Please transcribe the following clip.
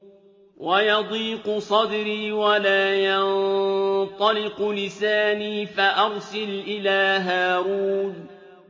وَيَضِيقُ صَدْرِي وَلَا يَنطَلِقُ لِسَانِي فَأَرْسِلْ إِلَىٰ هَارُونَ